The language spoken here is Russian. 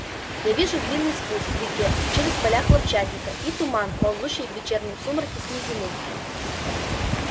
и вижу длинный спуск к реке через поля хлопчатника и туман ползущий в вечернем сумраке с низины